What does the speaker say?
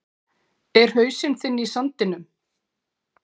Er hausinn þinn í sandinum?